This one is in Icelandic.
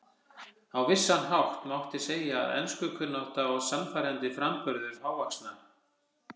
Á vissan hátt mátti segja að enskukunnátta og sannfærandi framburður hávaxna